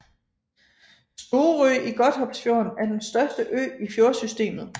Storø i Godthåbsfjorden er den største ø i fjordsystemet